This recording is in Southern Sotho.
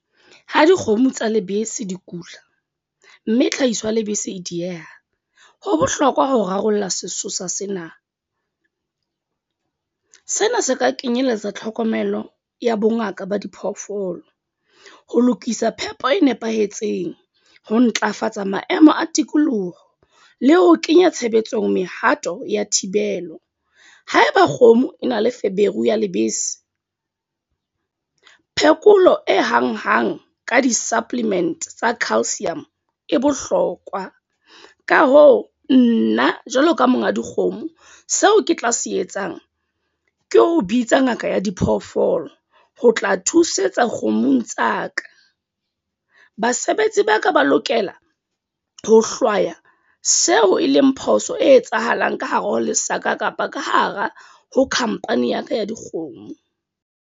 Ha dikgomo tsa lebese di kula. Mme tlhahiso ya lebese e dieha. Ho bohlokwa ho rarolla sesosa sena. Sena se ka kenyelletsa tlhokomelo ya bongaka ba diphoofolo. Ho lokisa phepo e nepahetseng, ho ntlafatsa maemo a tikoloho, le ho kenya tshebetsong mehato ya thibelo. Haeba kgomo e na le feberu ya lebese. Phekolo e hang-hang ka di-supplement tsa calsium e bohlokwa. Ka hoo, nna jwalo ka monga dikgomo seo ke tla se etsang ke ho bitsa ngaka ya diphoofolo ho tla thusetsa kgomong tsa ka. Basebetsi ba ka ba lokela ho hlwaya seo e leng phoso e etsahalang ka hare ho lesaka kapa ka hara ho khampani ya ka ya dikgomo.